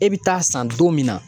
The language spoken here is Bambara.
E bi taa san don min na